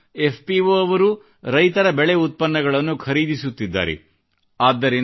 ಸ್ವತ FPO ಅವರೂ ರೈತರ ಬೆಳೆ ಉತ್ಪನ್ನಗಳನ್ನು ಖರೀದಿಸುತ್ತಿದ್ದಾರೆ